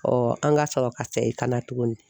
an ka sɔrɔ ka sa segin kana tugunni.